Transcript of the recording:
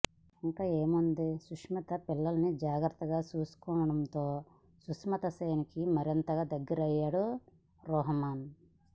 ఇంకేముంది సుస్మితా పిల్లలని జాగ్రత్తగా చుసుకుంటుండటంతో సుస్మితా సేన్ కి మరింతగా దగ్గరయ్యాడు రోహమన్